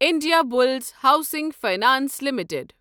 Indiabulls housing finance limited